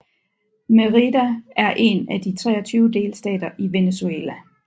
Mérida er en af de 23 delstater i Venezuela